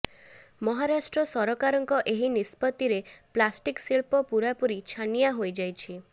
ମହାରାଷ୍ଟ୍ର ସରକାରଙ୍କ ଏହି ନିଷ୍ପତ୍ତିରେ ପ୍ଲାଷ୍ଟିକ୍ ଶିଳ୍ପ ପୂରାପୂରି ଛାନିଆଁ ହୋଇଯାଇଛି